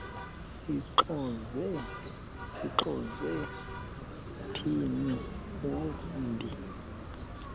sixoze mphini wumbi